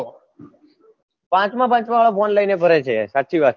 પાંચમાં પાંચમાં વાળાફોન લઈને ફરે છે સાચી વાત